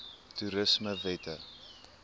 toerismewette